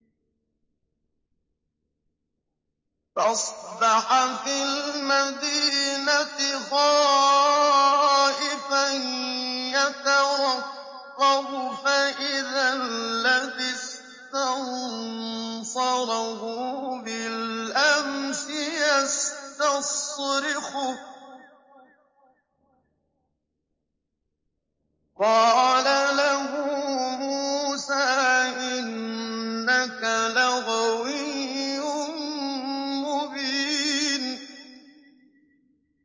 فَأَصْبَحَ فِي الْمَدِينَةِ خَائِفًا يَتَرَقَّبُ فَإِذَا الَّذِي اسْتَنصَرَهُ بِالْأَمْسِ يَسْتَصْرِخُهُ ۚ قَالَ لَهُ مُوسَىٰ إِنَّكَ لَغَوِيٌّ مُّبِينٌ